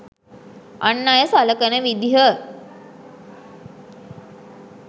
අන් අය සලකන විදිහ.